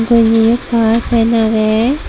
gonji yo pai fan aage.